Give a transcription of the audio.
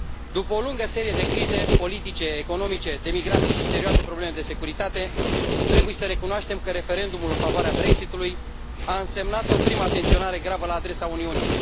După o lungă serie de crize politice, economice, de migrație și serioase probleme de securitate, trebuie să recunoaștem că referendumul în favoarea Brexit ului a însemnat o primă atenționare gravă la adresa Uniunii.